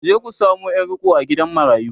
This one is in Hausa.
ku je ku samo Yar riƙo a gidan marayu!